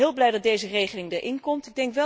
Ik ben heel blij dat deze regeling erin komt.